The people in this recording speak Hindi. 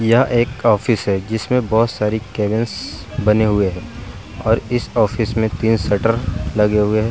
यह एक ऑफिस है जिसमें बहुत सारी केबिन्स बने हुए हैं और इस ऑफिस में तीन शटर लगे हुए हैं।